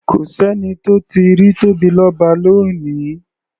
Kò s’ẹ́ni tó tíì rí Tóbilọ́ba lónìí.